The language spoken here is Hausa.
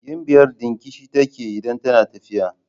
Gimbiyar dingishi take idan tana tafiya.